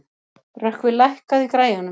Rökkvi, lækkaðu í græjunum.